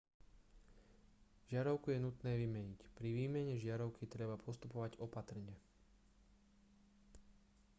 žiarovku je nutné vymeniť pri výmene žiarovky treba postupovať opatrne